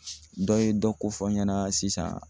Dɔ ye dɔ ko fɔ n ɲɛna sisan.